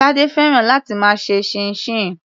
Tade fẹ́ràn láti máa ṣe chinchin.